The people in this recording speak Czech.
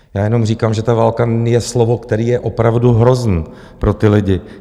Já jenom říkám, že ta válka je slovo, které je opravdu hrozné pro ty lidi.